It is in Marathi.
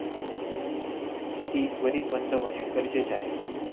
ती त्वरित बंद होणे गरजेचे आहे.